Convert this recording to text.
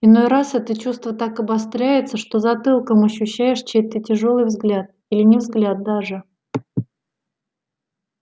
иной раз это чувство так обостряется что затылком ощущаешь чей-то тяжёлый взгляд или не взгляд даже